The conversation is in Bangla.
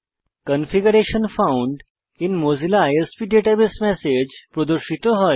configuration found in Mozilla ISP database message প্রদর্শিত হয়